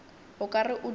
o ka re o duma